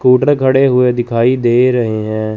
Scooter खड़े हुए दिखाई दे रहे हैं।